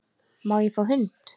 Má ég fá hund?